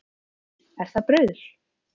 Er það bruðl